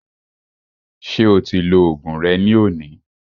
Ṣé o ti lo oògùn rẹ ní òní?